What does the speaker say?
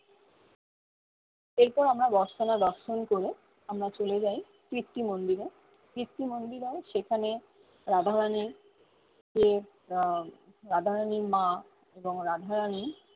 এর পর আমরা দর্শন করে আমরা চলে যাই কীর্তি মন্দিরে কীর্তি মন্দিরেও সেখানে আহ রাধা বানাই যে আহ রাধা রানির মা এবং রাধা রানি